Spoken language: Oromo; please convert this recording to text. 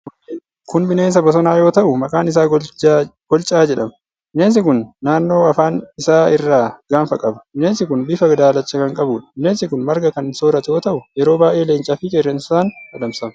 Kun bineensa bosonaa yoo ta'u, maqaan isaa Golcaa jedhama. Bineensi kun naannoo afaan isaa irraa gaanfa qaba. Bineensi kun bifa daalacha kan qabuudha. Bineensi kun marga kan sooratu yoo ta'u, yeroo baay'ee leencaa fi qeerransaan adamsama.